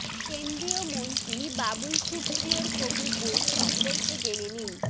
কেন্দ্রীয় মন্ত্রী বাবুল সুপ্রিয়র হবু বউ সম্পর্কে জেনে নিন